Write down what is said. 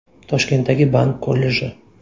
Toshkentdagi bank kolleji.